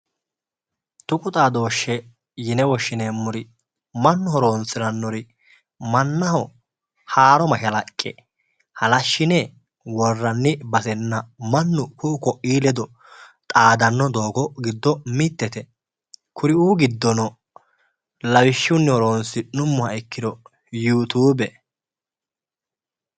Tuqu xaadoshe yinne woshshineemmori mannu horonsiranori, mannaho haaro mashalaqqe halashine worranni basenna mannu ku"u koi ledo xaadano doogo giddo mitete kuriu giddono lawishshunni horonsi'nuummoha ikkiro Yutube